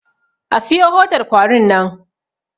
A siyo hodar kwarin nan!